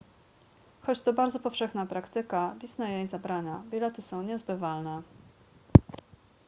choć to bardzo powszechna praktyka disney jej zabrania bilety są niezbywalne